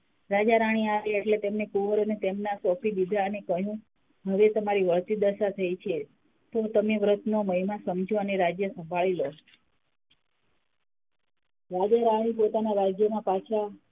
રાજા - રાણી આવ્યાં એટલે તેમનાં કૂવરોને તેમને સોંપી દીધાં અને કહ્યું હવે તમારી વળતી દશા થઈ છે તો તમે વ્રતનો મહીમાં સમજો અને રાજ્ય સંભાળી લો રાજા -રાણી પોતાનાં રાજ્યમાં પાછાં,